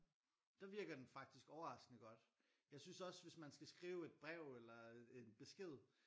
Der virker den faktisk overraskende godt jeg synes også hvis man skal skrive et brev eller en besked